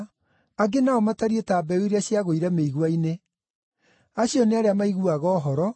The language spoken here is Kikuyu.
Angĩ nao matariĩ ta mbeũ iria ciagũire mĩigua-inĩ. Acio nĩ arĩa maiguaga ũhoro,